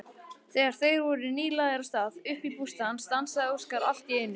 Þegar þeir voru nýlagðir af stað upp að bústaðnum stansaði Óskar allt í einu.